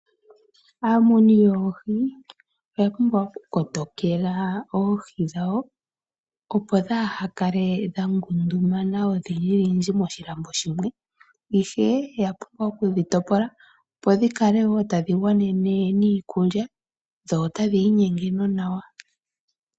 Aamuni yoohi oya pumbwa oku kotokela oohi dhawo opo kaadhikale dhangundumana odhindji moshilambo shimwe. Oya pumbwa okudhi topola opo dhikale woo tadhi gwanene niikulya dho otadhi inyenge nonawa.